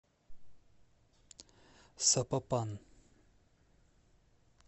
сапопан